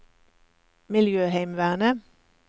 miljøheimevernet